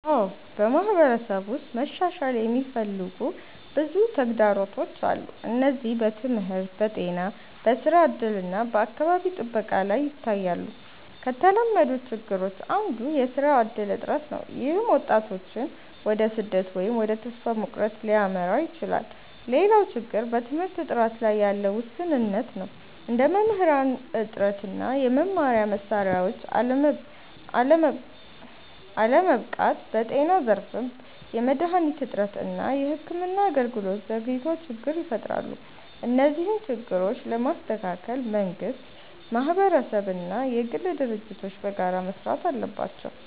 አዎ፣ በማህበረሰብ ውስጥ መሻሻል የሚፈልጉ ብዙ ተግዳሮቶች አሉ። እነዚህ በትምህርት፣ በጤና፣ በስራ እድል እና በአካባቢ ጥበቃ ላይ ይታያሉ። ከተለመዱት ችግሮች አንዱ የስራ እድል እጥረት ነው፣ ይህም ወጣቶችን ወደ ስደት ወይም ወደ ተስፋ መቁረጥ ሊያመራ ይችላል። ሌላው ችግር በትምህርት ጥራት ላይ ያለ ውስንነት ነው፣ እንደ መምህራን እጥረት እና የመማሪያ መሳሪያዎች አለመበቃት። በጤና ዘርፍም የመድሃኒት እጥረት እና የሕክምና አገልግሎት ዘግይቶች ችግር ይፈጥራሉ። እነዚህን ችግሮች ለመስተካከል መንግስት፣ ማህበረሰብ እና የግል ድርጅቶች በጋራ መስራት አለባቸው።